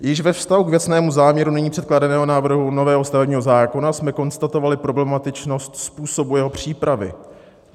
Již ve vztahu k věcnému záměru nyní předkládaného návrhu nového stavebního zákona jsme konstatovali problematičnost způsobu jeho přípravy.